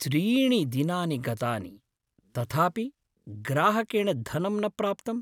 त्रीणि दिनानि गतानि, तथापि ग्राहकेण धनं न प्राप्तम्।